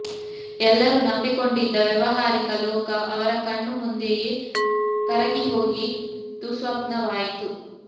ಎಲ್ಲರೂ ನಂಬಿಕೊಂಡಿದ್ದ ವ್ಯಾವಹಾರಿಕ ಲೋಕ ಅವರ ಕಣ್ಣು ಮುಂದೆಯೇ ಕರಗಿ ಹೋಗಿ ದುಃಸ್ವಪ್ನವಾಯಿತು